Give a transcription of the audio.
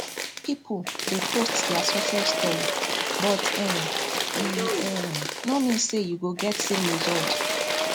people dey post their success story but um e um no mean say you go get same result